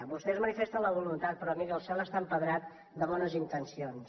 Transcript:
vostès manifesten la voluntat però miri el cel està empedrat de bones intencions